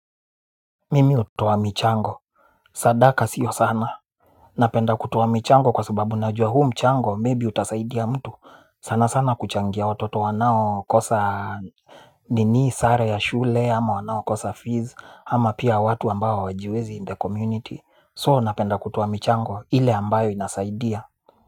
Mimi utowa mchango sadaka sio sana. Napenda kutowa michango kwa sababu najwa huu mchango maybe utasaidia mtu sana sana kuchangia watoto wanao kosa. Ninii sare ya shule ama wanao kosa fees ama pia watu ambayo wajiwezi in the community so napenda kutowa michango ile ambayo inasaidia.